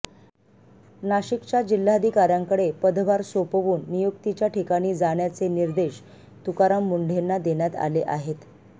नाशिकच्या जिल्हाधिकाऱ्यांकडे पदभार सोपवून नियुक्तीच्या ठिकाणी जाण्याचे निर्देश तुकाराम मुंढेंना देण्यात आले आहेत